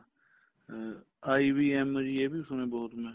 ਅਮ IBM ਇਹ ਵੀ ਸੁਣਿਆ ਬਹੁਤ ਮੈਂ